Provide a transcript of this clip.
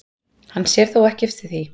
Hann sér þó ekki eftir því